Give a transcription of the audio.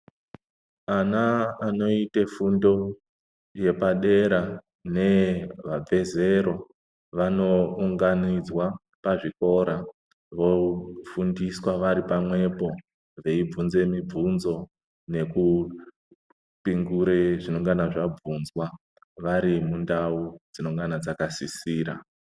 Ana anoite fundo yepadera neye vabve zero vanounganidzwa pazvikora vofundiswa vari pamwepo. Vobvunzwa mibvinzo nekupingure zvinongana zvabvunzwa vari mundau dzinongana dzakasisira.